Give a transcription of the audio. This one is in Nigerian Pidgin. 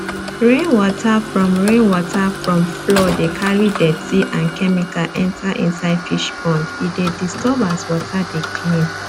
rain water from rain water from floor de carry dirty and chemical enter inisde fish pond e de disturb as water de clean